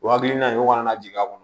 O hakilina in kɔni na jigin a kɔnɔ